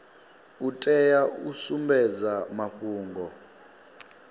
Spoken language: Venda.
u tea u sumbedza mafhungo